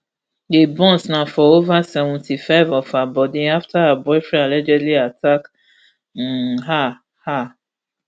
di burns na for over seventy-five of her body afta her boyfriend allegedly attack um her her